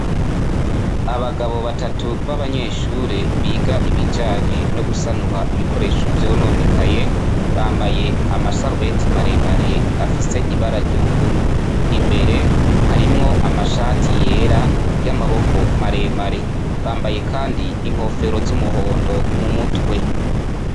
abagabo batatu b'abanyeshure biga ibijanye no gusanura ibikoresho vyononekaye bambaye amasarubeti maremare afise ibara ry'ubururu imbere harimwo amashati yera y'amaboko maremare bambaye kandi inkofero z'umuhondo mu mutwe